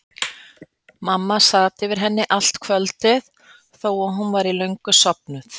Mamma sat yfir henni allt kvöldið þó að hún væri löngu sofnuð.